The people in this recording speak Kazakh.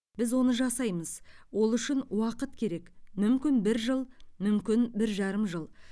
біз оны жасаймыз ол үшін уақыт керек мүмкін бір жыл мүмкін бір жарым жыл